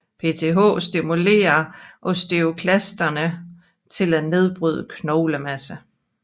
PTH stimulurer osteoklasterne til at nedbryde knoglemasse